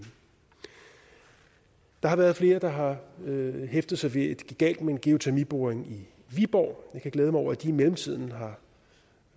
der har været flere der har hæftet sig ved at galt med en geotermiboring i viborg jeg kan glæde mig over at de i mellemtiden har